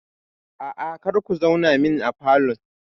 Aa, kar ku zauna min a falon